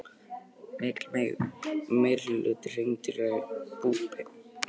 Mikill meirihluti hreindýra er búpeningur.